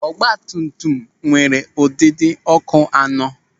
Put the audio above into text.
Ọgbatumtum m nwere ụdịdị ọ́kụ́ anọ.